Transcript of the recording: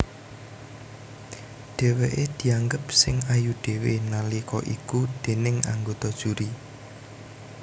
Dhèwèké dianggep sing ayu dhéwé nalika iku déning anggota juri